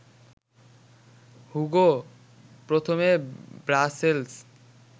Hugo প্রথমে Brussels